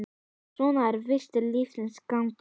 Svona er víst lífsins gangur.